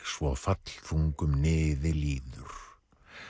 svo fallþungum niði líður